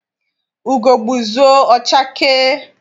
Ugo gbuzuo, ọ chakee.